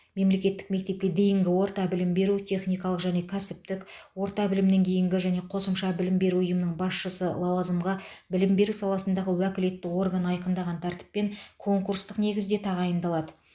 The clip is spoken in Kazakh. мемлекеттік мектепке дейінгі орта білім беру техникалық және кәсіптік орта білімнен кейінгі және қосымша білім беру ұйымының басшысы лауазымға білім беру саласындағы уәкілетті орган айқындаған тәртіппен конкурстық негізде тағайындалады